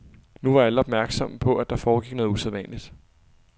Nu var alle opmærksomme på, at der foregik noget usædvanligt.